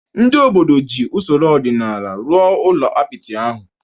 Ndị obodo ji usoro ọdịnala rụrụ ụlọ apịtị ahụ.